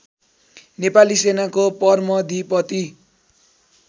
नेपाली सेनाको परमधीपती